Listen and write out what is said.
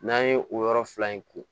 N'an ye o yɔrɔ fila in ko